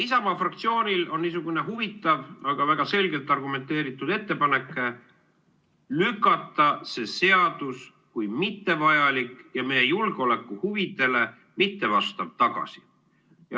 Isamaa fraktsioonil on niisugune huvitav, aga väga selgelt argumenteeritud ettepanek lükata see seaduseelnõu, kui mittevajalik ja meie julgeolekuhuvidele mittevastav, tagasi.